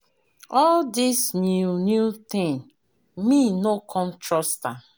All this new new thing, me no come trust am.